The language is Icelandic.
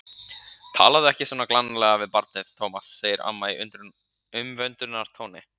Talaðu ekki svona glannalega við barnið, Tómas, segir amma í umvöndunartóni.